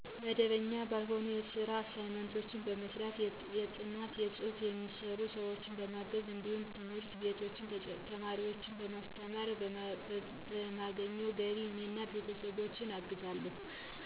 መደበኛ ባልሆነ ስራ አሳይመንት በመስራት፣ የጥናት ፅሁፍ የሚሰሩ ሰዎችን በማገዝ እንዲሁም ትምህርት ቤቶች ተማሪዎችን በማስተማር ከማገኘው ገቢ እኔን እና ቤተሰቦቸን አግዛለሁ።